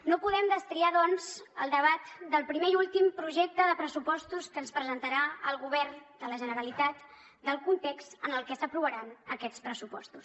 no podem destriar doncs el debat del primer i últim projecte de pressupostos que ens presentarà el govern de la generalitat del context en el que s’aprovaran aquests pressupostos